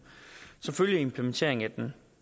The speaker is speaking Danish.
som følge af implementeringen af den